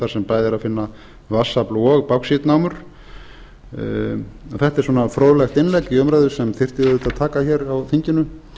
er að finna vatnsafl og báxítnámur þetta er svona fróðleg innlegg í umræðu sem þyrfti auðvitað að taka hér á þinginu